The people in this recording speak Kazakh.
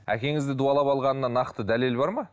әкеңізді дуалап алғанына нақты дәлел бар ма